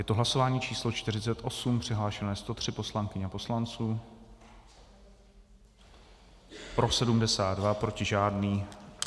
Je to hlasování číslo 48, přihlášeno je 103 poslankyň a poslanců, pro 73, proti žádný.